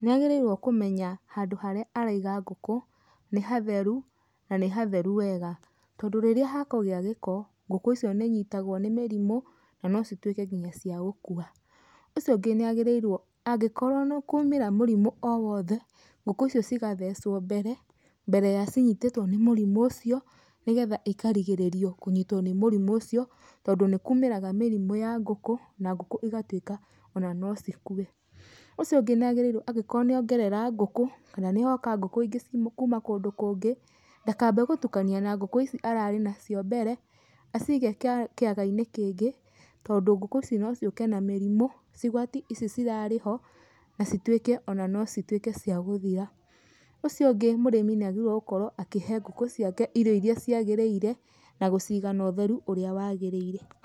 Nĩ agĩrĩirwo kũmenya handũ harĩa araiga ngũkũ nĩ hatheru, na nĩ hatheru wega. Tondũ rĩrĩa hakũgĩa gĩko, ngũkũ icio nĩ inyitagwo nĩ mĩrimũ na no cituĩke nginya cia gũkua. Ũcio ũngĩ nĩ agĩrĩirwo angĩkorwo nĩ kwa ũmĩra mũrimũ o wothe, ngũkũ icio cigathecwo mbere, mbere ya cinyitĩtwo nĩ mũrimũ ũcio nĩgetha ĩkarigĩrĩrio kũnyitwo nĩ mũrimũ ucio, tondũ nĩ kũmĩraga mĩrimũ ya ngũkũ, na ngũkũ igatuĩka ona no cikue. Ũcio ũngĩ nĩ agĩrĩirwo angĩkorwo nĩ ongerera ngũkũ, kana nĩ hoka ngũkũ ingĩ kuma kũndũ kũngĩ, ndakambe gũtukania na ngũkũ ici arare nacio mbere, acige kĩaga-inĩ kĩngĩ, tondũ ngũkũ ici no cioke na mirimũ, cigwati ici cirare ho, na cituĩke ona no cituĩke cia gũthira. Ũcio ũngĩ mũrĩmi nĩ agĩrĩirwo gũkorwo akĩhe ngũkũ ciake irio iria ciagĩrĩire na gũciga na ũtheru ũrĩa wagĩrĩire.